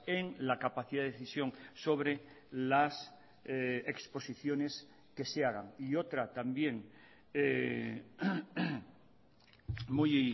en la capacidad de decisión sobre las exposiciones que se hagan y otra también muy